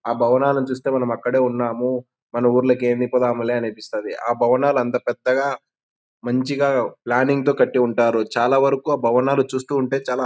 ఆ భవనాలను చుస్తేయ్ మనం అక్కడే ఉన్నాము మన ఊరులో ఏ మిప్పు రాదులే అనిపిస్తది. ఆ భవనాలు అంత పెద్దగా మంచిగా ప్లానింగ్ తో కటి ఉంటారు. చాల వరకు ఆ భవనాలు చూస్తూ ఉంటె చాల--